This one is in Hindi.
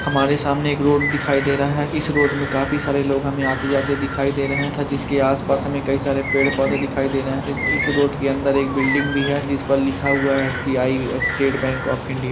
हमारे सामने एक रोड दिखाई दे रहा है इस रोड में काफी सारे लोग हमे आते-जाते दिखाई दे रहे थ जिसके आस-पास हमें कई सारे पेड़-पौधे दिखाई दे रहे है इस-इस रोड के अंदर एक बिल्डिंग भी है जिस पर लिखा हुआ है S B I State Bank of India --